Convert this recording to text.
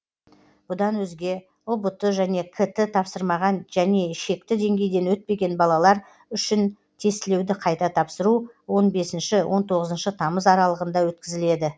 бұдан өзге ұбт және кт тапсырмаған және шекті деңгейден өтпеген балалар үшін тестілеуді қайта тапсыру он бесінші он тоғызыншы тамыз аралығында өткізіледі